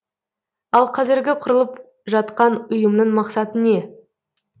ал қазіргі құрылып жатқан ұйымның мақсаты не